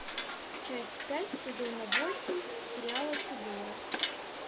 часть пять сезона восемь сериала тюдоры